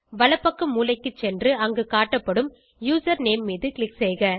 வலப்பக்க மூலைக்கு சென்று அங்கு காட்டப்படும் யூசர்நேம் மீது க்ளிக் செய்க